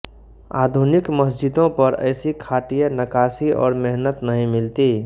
आधुनिक मस्जिदों पर ऐसी खाटिय नकाशी और मेहनत नहीं मिलती